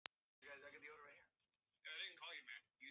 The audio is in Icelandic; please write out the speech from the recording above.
En þetta er nú ekki alveg svona einfalt, vinur minn.